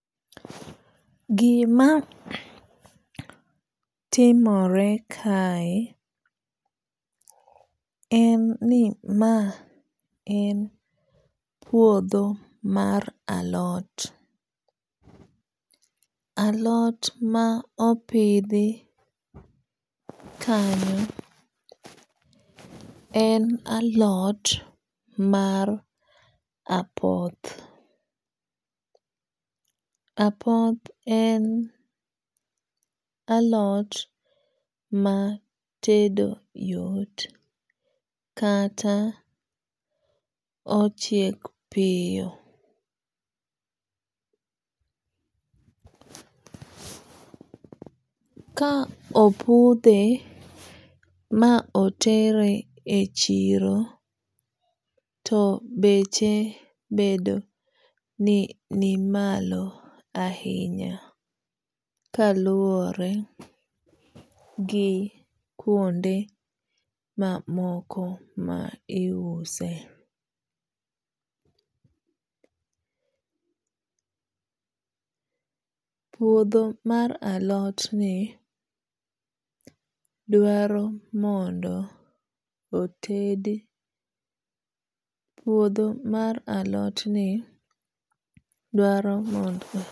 Gima timore kae en ni maen puodho mar alot. alot maopidhi kanyo en alot mar apoth. apoth en alot matedo yot kata ochiek piyo. kaopudhe maotere echiro to beche bedo ni ni malo ahinya kaluwore gi kuonde mamoko maiuse. puodho mar alot ni dwaro ni mondo